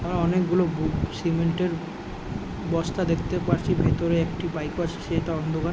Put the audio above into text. হা অনেকগুলো গুড়ো সিমেন্ট -এর বস্তা দেখতে পারছি। ভিতরে একটি বাইক আছে সেটা অন্ধকার ।